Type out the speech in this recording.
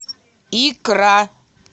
икра